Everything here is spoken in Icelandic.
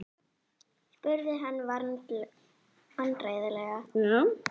spurði hann vandræðalega.